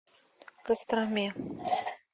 костроме